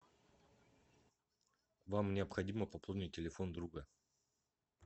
вам необходимо пополнить телефон друга